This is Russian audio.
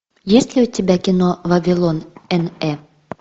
есть ли у тебя кино вавилон н э